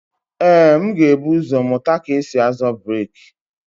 Ee, m ga-ebu ụzọ mụta ka esi-azọ breeki.